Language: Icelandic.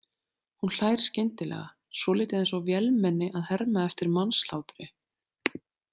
Hún hlær skyndilega, svolítið eins og vélmenni að herma eftir mannshlátri.